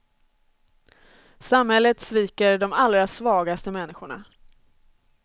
Samhället sviker de allra svagaste människorna.